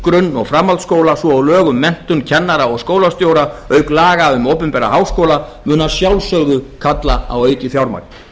grunn og framhaldsskóla svo og lög um menntun kennara og skólastjóra auk laga um opinbera háskóla mun að sjálfsögðu kalla á aukið fjármagn